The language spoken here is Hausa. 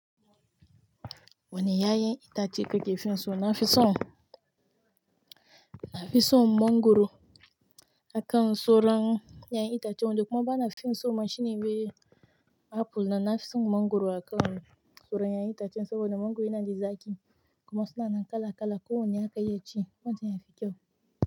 Wani ƴaƴan itace kike finso? Na fi son, na fi son mangwaro aka soran ƴaƴan itacen. Wando kuma bana finso ma shine me apple, nan na fi son mangwaro aka soran ƴaƴan itacen saboda mangwaro yana da zaƙi kuma suna nan kala-kala. Ko wanne aka iya ci, wancan yafi kyau.